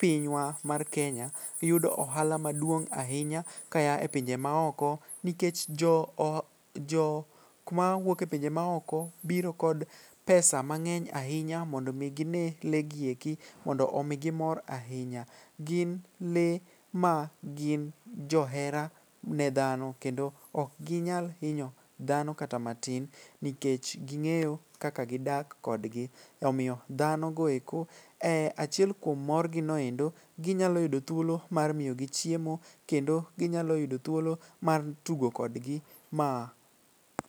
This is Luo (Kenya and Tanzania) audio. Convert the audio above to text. pinywa mar Kenya yudo ohala maduong' ahinya kaya e pinje maoko nikech jokma wuok e pinje maoko biro kod pesa mang'eny ahinya mondo omi gine lee gi eki mondo omigi mor ahinya. Gin lee magin johera ne dhano kendo okginyal hinyo dhano kata matin nikech ging'eyo kaka gidak kodgi omiyo dhanogo eko e achiel kuom morgino endo ginyalo yudo thuolo mar miyo gi chiemo kendo ginyalo yudo thuolo mar tugo kodgi ma..